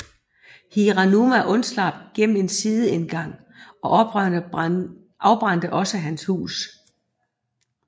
Hiranuma undslap gennem en sideindgang og oprørerne afbrændte også hans hus